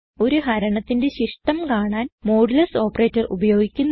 ഒരു ഹരണത്തിന്റെ ശിഷ്ടം കാണാൻ മോഡുലസ് ഓപ്പറേറ്റർ ഉപയോഗിക്കുന്നു